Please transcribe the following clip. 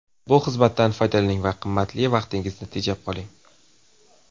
Bu xizmatdan foydalaning va qimmatli vaqtingizni tejab qoling.